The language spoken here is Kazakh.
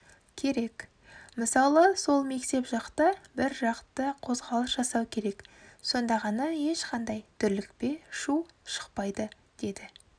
керек мысалы сол мектеп жақта біржақты қозғалыс жасау керек сонда ғана ешқандайдүрлікпе шу шықпайды деді